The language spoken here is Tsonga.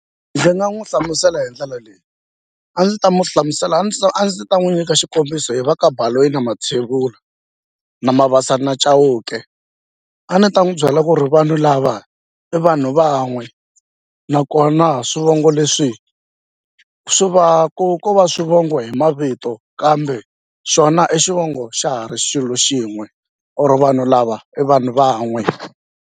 Ndzi nga n'wi hlamusela hi ndlela leyi a ndzi ta n'wi hlamusela a ndzi a ndzi ta n'wi nyika xikombiso hi va ka Baloyi na Mathevula na Mabasa na Chauke a ni ta n'wi byela ku ri vanhu lava i vanhu van'we nakona swivongo leswi swi va ku ko va swivongo hi mavito kambe xona i xivongo xa ha ri xilo xin'we or vanhu lava i vanhu van'we.